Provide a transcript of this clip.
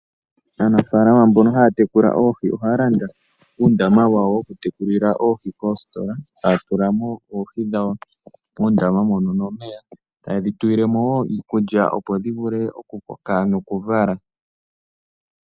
Aanafaalama mbono haya tekula oohi, ohaya landa uundama wawo woku tekulila oohi. Ohaya tula nduno oohi dhawo muundama moka, ta ye dhi tulile mo wo iikulya opo dhi vule oku koka nokuvala.